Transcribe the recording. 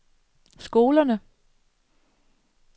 skolerne